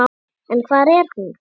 En hvar er hún?